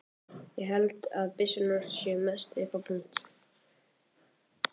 Ég held að byssurnar séu mest upp á punt.